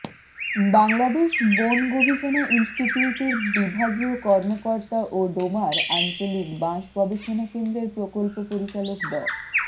বাংলাদেশ বন গবেষণা ইনস্টিটিউটের বিভাগীয় কর্মকর্তা ও ডোমার আঞ্চলিক বাঁশ গবেষণা কেন্দ্রের প্রকল্প পরিচালক ড